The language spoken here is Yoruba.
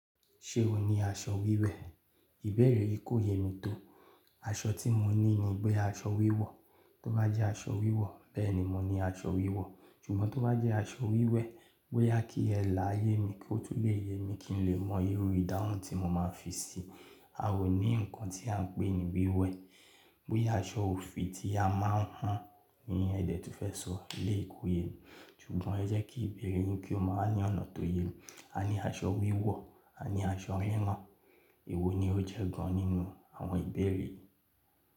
Ṣé ò ní aṣọ wíwẹ̀? Ìbeẹ̀rẹ̀ yìí kò yé mi tó. Aṣọ tí mo ní ni pe aṣọ wíwọ̀, tó bá jẹ́ aṣọ wíwọ̀ bẹ́ẹ̀ni mò ní aṣọ wíwọ̀, ṣùgbọ́n tó bá jẹ́ aṣọ wíwẹ̀, bóyá kí ẹ lààyè mi kó tún lè yé mi kí n lè mọ irú ìdáhùn tí mo máa fi sí i. A ò ní nǹkan tí à ń pè ní bíwẹ̀. Bóyá aṣọ òfì tí a máa ń hàn ni ẹ dẹ̀ tún fẹ́ sọ, eleyi ko yé mi, ṣùgbọ́n ẹ jẹ́ kí ìbeẹ̀rẹ̀ yín kí ó máa ní ọ̀nà tó yé mi. A ní aṣọ wíwọ̀, a ní aṣọ rírán, èwo ni ó jẹ́ gan-an nínú àwọn ìbeẹ̀rẹ̀ yìí?